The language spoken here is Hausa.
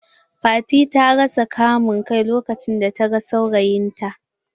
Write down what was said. Fati ta rasa kama kai lokacin da ta gan saurayin ta.